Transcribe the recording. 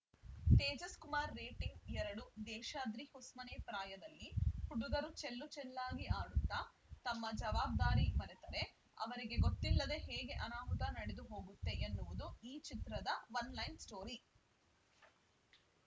Tejas Kumar rating ಎರಡು ದೇಶಾದ್ರಿ ಹೊಸ್ಮನೆ ಪ್ರಾಯದಲ್ಲಿ ಹುಡುಗರು ಚೆಲ್ಲುಚೆಲ್ಲಾಗಿ ಆಡುತ್ತಾ ತಮ್ಮ ಜವಾಬ್ದಾರಿ ಮರೆತರೆ ಅವರಿಗೆ ಗೊತ್ತಿಲ್ಲದೆ ಹೇಗೆ ಅನಾಹುತ ನಡೆದುಹೋಗುತ್ತೆ ಎನ್ನುವುದು ಈ ಚಿತ್ರದ ಒನ್‌ಲೈನ್‌ ಸ್ಟೋರಿ